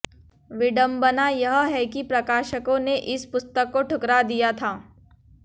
विडंबना यह है कि प्रकाशकों ने इस पुस्तक को ठुकरा दिया था